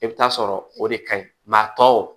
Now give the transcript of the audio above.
I bɛ taa sɔrɔ o de ka ɲi a tɔw